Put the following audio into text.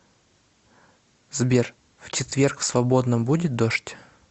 сбер в четверг в свободном будет дождь